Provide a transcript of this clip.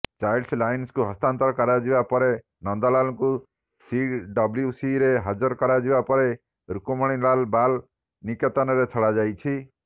child ଲାଇନ୍କୁ ହସ୍ତାନ୍ତର କରାଯିବା ପରେ ନନ୍ଦଲାଲଙ୍କୁ ସିଡବ୍ଲ୍ୟୁସିରେ ହାଜର କରାଯିବା ପରେ ରୁକ୍ମିଣୀଲାଲ ବାଲ ନିକେତନରେ ଛଡ଼ାଯାଇଛି